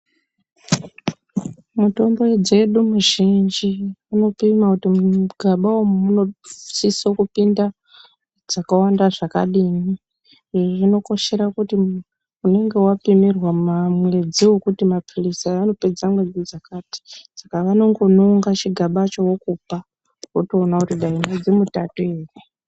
Mitombo dzedu mizhinji unopima kuti mugaba umu munosisokupinda dzakawanda zvakadini. Iyi inokoshera kuti unenge wapimirwa mwedzi wekuti maphilizi aya anopedza mwedzi dzakati, Saka vanongononga chigabacho vokupa, wotoona kuti dai mwedzi mutatu ere.